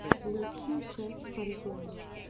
лучшая часть фантома